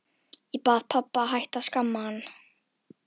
Ég bað pabba að hætta að skamma hann.